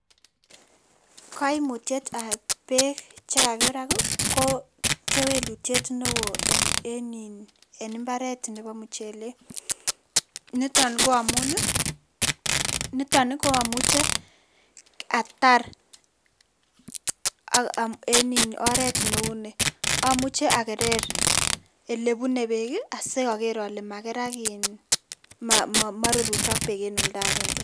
Koimutietab beek chekakerak ko kewelutiet neo en mbaret nepo muchelek niton koamun niton koamuche atar en oret neu ni amuche akerer elebunei beek asiaker ale makerak iin moiruruchok beek en olndakenge.